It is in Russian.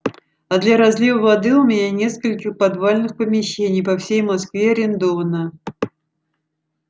а для разлива воды у меня несколько подвальных помещений по всей москве арендовано